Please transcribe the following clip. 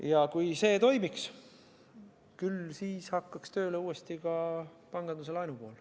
Ja kui see toimiks, küll siis hakkaks uuesti korralikult tööle ka panganduse laenu pool.